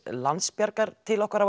Landsbjargar til okkar á